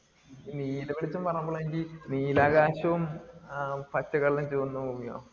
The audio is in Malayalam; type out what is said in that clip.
നീലവെളിച്ചം പറഞ്ഞപ്പോൾ ആണ് എനിക്ക് നീലാകാശോം ആഹ് പച്ചക്കടലും ചുവന്ന ഭൂമിയോ